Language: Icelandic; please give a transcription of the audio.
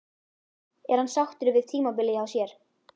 Er hann sáttur með tímabilið hjá sér?